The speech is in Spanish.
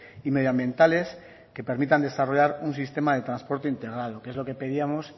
y medioambientales que permitan desarrollar un sistema de transporte integrado que es lo que pedíamos